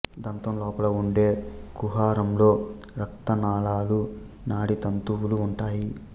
దంతం లోపల ఉండే కుహరంలో రక్త నాళాలు నాడీ తంతువులు ఉంటాయి